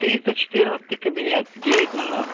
три сто четырнадцатый кабинет девять ноль ноль